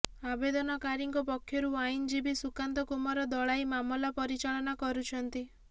ଆବେଦନକାରୀଙ୍କ ପକ୍ଷରୁ ଆଇନଜୀବୀ ସୁକାନ୍ତ କୁମାର ଦଳାଇ ମାମଲା ପରିଚାଳନା କରୁଛନ୍ତି